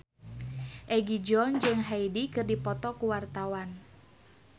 Egi John jeung Hyde keur dipoto ku wartawan